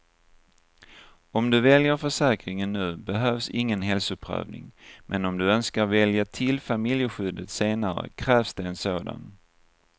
Om du väljer försäkringen nu behövs ingen hälsoprövning, men om du önskar välja till familjeskyddet senare krävs det en sådan.